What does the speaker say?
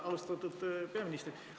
Austatud peaminister!